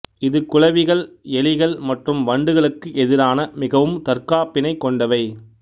இது குளவிகள் எலிகள் மற்றும் வண்டுகளுக்கு எதிரான மிகவும் தற்காப்பினைக் கொண்டவை